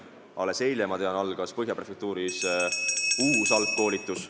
Alles eile, ma tean, algas Põhja prefektuuris uus algkoolitus.